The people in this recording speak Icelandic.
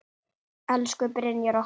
Elsku Brynjar okkar.